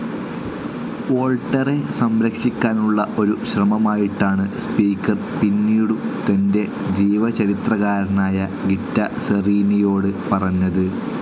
വോൾട്ടേരെ സംരക്ഷിക്കാനുള്ള ഒരു ശ്രമമായിട്ടാണ് സ്പീക്കർ പിന്നീടു തന്റെ ജീവചരിത്രകാരനായ ഗിറ്റ സെറീനിയോട് പറഞ്ഞത്.